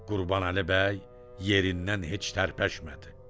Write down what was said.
Qurbanəli bəy yerindən heç tərpəşmədi.